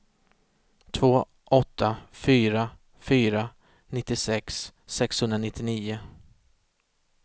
två åtta fyra fyra nittiosex sexhundranittionio